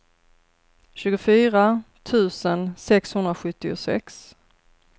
tjugofyra tusen sexhundrasjuttiosex